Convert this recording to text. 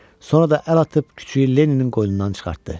Sonra da əl atıb küçüyü Lenninin qoynundan çıxartdı.